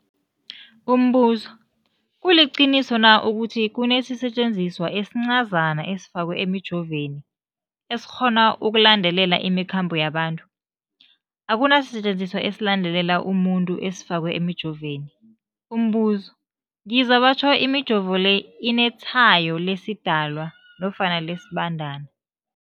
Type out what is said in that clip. Umbuzo, kuliqiniso na ukuthi kunesisetjenziswa esincazana esifakwa emijovweni, esikghona ukulandelela imikhambo yabantu? Akuna sisetjenziswa esilandelela umuntu esifakwe emijoveni. Umbuzo, ngizwa batjho imijovo le inetshayo lesiDalwa nofana lesiBandana